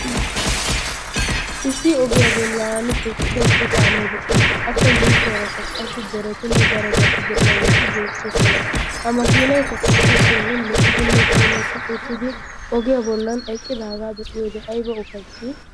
Issi ogiyaa bollan eqqida issi kaamee de'ees. Appe yushshuwarakka qassi deretinne bdarobati de'iyaage beettoosona. Ha makinaykka qassi keehin lo''idinne puulati uttidi ogiyaa doonan puulati uttidaagaa be'iyoode aybba lo''i!